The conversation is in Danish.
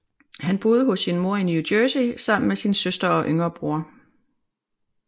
Han boede hos sin mor i New Jersey sammen med sin søster og yngre bror